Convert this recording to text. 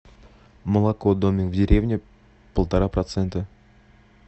молоко домик в деревне полтора процента